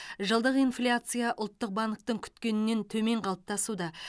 жылдық инфляция ұлттық банктің күткенінен төмен қалыптасуда